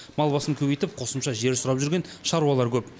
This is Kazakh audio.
мал басын көбейтіп қосымша жер сұрап жүрген шаруалар көп